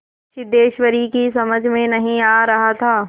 सिद्धेश्वरी की समझ में नहीं आ रहा था